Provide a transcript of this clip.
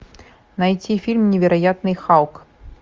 найти фильм невероятный халк